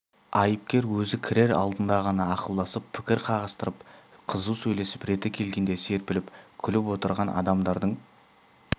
айыпкер өзі кірер алдында ғана ақылдасып пікір қағыстырып қызу сөйлесіп реті келгенде серпіліп күліп отырған адамдардың